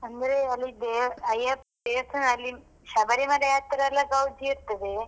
ಅಂದ್ರೆ, ಅಲ್ಲಿ ದೇವ್ರು ಅಯ್ಯಪ್ಪ ದೇವಸ್ಥಾನದಲ್ಲಿ ಶಬರಿಮಲೆ ಹತ್ತಿರ ಎಲ್ಲ ಗೌಜಿ ಇರ್ತದೆ.